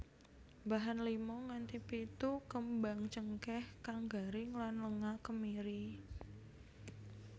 Bahan lima nganthi pitu kembang cengkèh kang garing lan lenga kemiri